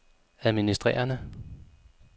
administrerende